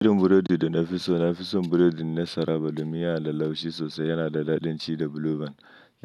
Irin burodi da na fi so na fi son burodin na saraba da miya alalaushi sosai. Yana da daɗin ci da buluban.